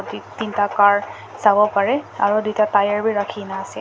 ek tinta car sawo pareh aro duita tyre wi rakhina ase.